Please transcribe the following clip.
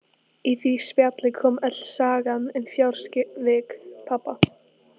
Í því spjalli kom öll sagan um fjársvik pabba.